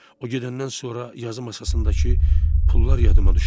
O gedəndən sonra yazı masasındakı pullar yadıma düşdü.